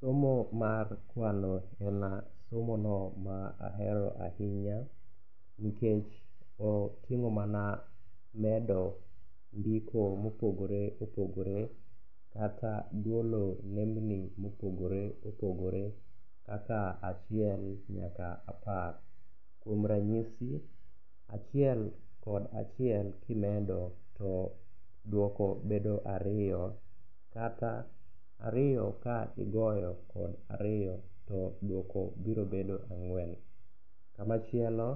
Somo mar kwano en somono ma ahero ahinya, nikech oting'o mana medo gigo mopogore opogore kata golo nembni mopogore opogore kaka achiel nyaka apar. Kuom ranyisi, achiel kod achiel kimedo to dwoko bedo ariyo, kata ariyo ka igoyo kod ariyo to dwoko biro bedo ang'wen. Kamachielo